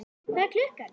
Hvað er klukkan?